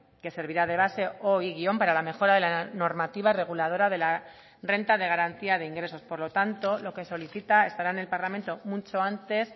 que servirá de base o y guion para la mejora de la normativa reguladora de la renta de garantía de ingresos por lo tanto lo que solicita estará en el parlamento mucho antes